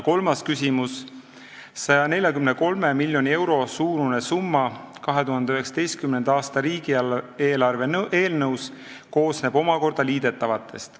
Kolmas küsimus: "143 miljoni euro suurune summa 2019. aasta riigieelarve eelnõus koosneb omakorda liidetavatest.